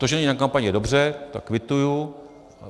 To, že není na kampani, je dobře, to kvituji.